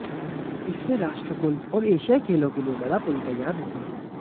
इससे राष्ट्रकुल और एशियाई खेलों के लिए बड़ा पूल तैयार होगा